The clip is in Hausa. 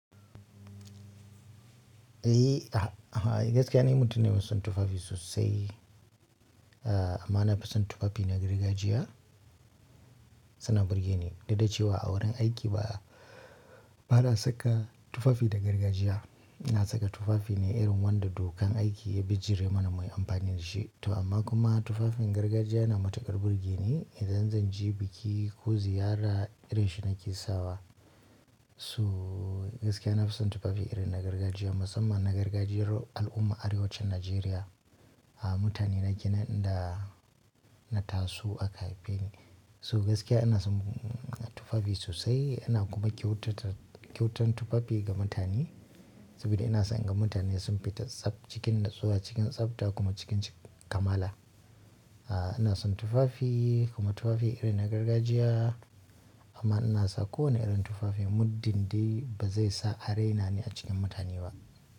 Eh, gaskiya ni mutum ne mai son tufafi sosai. Amma na fi son tufafi na gargajiya, suna burge ni. Duk da cewa a wurin aiki ba, ba na saka tufafi da gargajiya. Na saka tufafi ne irin wanda dukan aiki ya bijire mana muyi amfani da shi. To amma kuma tufafin gargajiya yana matukar burgeni idan zan je biki ko ziyara irin shi nake sawa. So gaskiya na fison tufafi irin na gargajiya musamman na gargajiyar al’umma arewacin Najeriya. Mutane na kenan ida na taso aka haife ni. So gaskiya ina son tufafi sosai ina kuma kyautata kyautan tufafi ga mutane. Sabida ina son in ga mutane sun fita tsab cikin natsuwa cikin tsafta kuma cikin kamala. Aaa ina son tufafi kuma tufafi irin na gargajiya amma ina sa kowane irin tufafi muddin dai ba zai sa are na ni a cikin mutane ba.